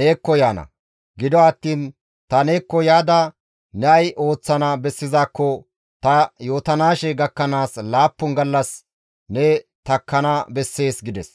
neekko yaana; gido attiin ta neekko yaada ne ay ooththana bessizaakko ta yootanaashe gakkanaas laappun gallas ne takkana bessees» gides.